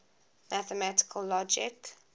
mathematical logic